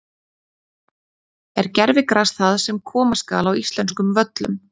Er gervigras það sem koma skal á íslenskum völlum?